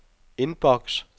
inbox